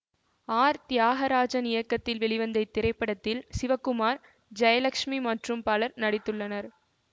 R Thiyagarajan இயக்கத்தில் வெளிவந்த இத்திரைப்படத்தில் சிவகுமார் ஜெயலக்ஸ்மி மற்றும் பலர் நடித்துள்ளனர்